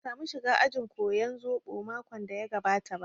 Ban samu shiga ajin koyan zobo makon da ya gabata ba